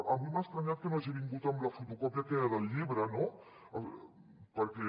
avui m’ha estranyat que no hagi vingut amb la fotocòpia aquella del llibre no perquè